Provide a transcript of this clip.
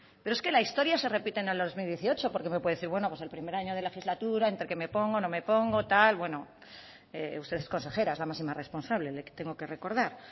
pero es que la historia se repite en el dos mil dieciocho porque me puede decir bueno pues el primer año de legislatura entre que me pongo no me pongo tal bueno usted es consejera es la máxima responsable le tengo que recordar